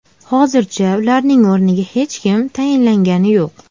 Hozircha ularning o‘rniga hech kim tayinlangani yo‘q.